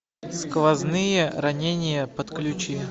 сквозные ранения подключи